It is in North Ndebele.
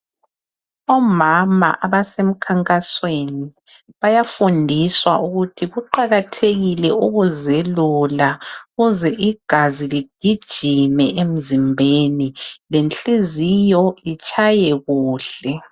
Omama abasemkhankasweni bayafundiswa ukuthi kuqakathekile ukuzelula, ukuze igazi ligijime emzimbeni lenhliziyo itshaye kuhle.